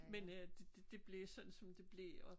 Men øh det det blev sådan som det blev og